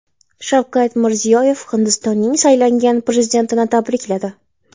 Shavkat Mirziyoyev Hindistonning saylangan prezidentini tabrikladi.